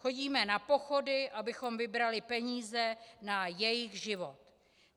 Chodíme na pochody, abychom vybrali peníze na jejich život.